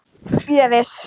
Ég er viss.